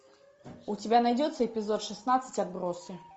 у тебя найдется эпизод шестнадцать отбросы